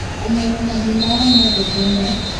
kũmenya mathĩna o mothe tene,